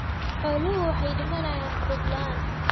Xooluhu waxay u dhimanayaan quud la'aan.